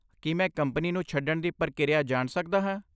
ਕੀ ਮੈਂ ਕੰਪਨੀ ਨੂੰ ਛੱਡਣ ਦੀ ਪ੍ਰਕਿਰਿਆ ਜਾਣ ਸਕਦਾ ਹਾਂ?